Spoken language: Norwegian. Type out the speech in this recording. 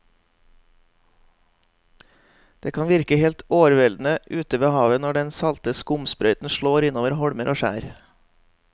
Det kan virke helt overveldende ute ved havet når den salte skumsprøyten slår innover holmer og skjær.